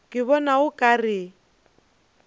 ke bona o ka re